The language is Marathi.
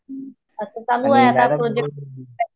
असं चालू आहे आता प्रोजेक्ट